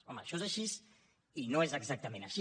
home això és així i no és exactament així